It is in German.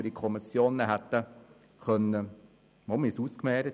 Wir haben darüber gesprochen, wir haben es ausgemehrt.